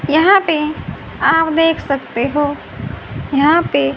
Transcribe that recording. यहां पे आप देख सकते हो यहां पे--